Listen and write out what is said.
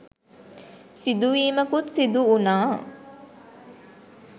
සිදුවීමකුත් සිදු වුනා..